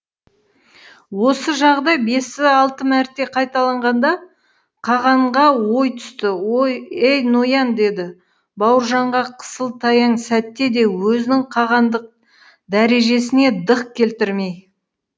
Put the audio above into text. осы жағыдай бес алты мәрте қайталанғанда қағанға ой түсті ей ноян деді бауыржанға қысыл таяң сәтте де өзінің қағандық дәрежесіне дық келтірмей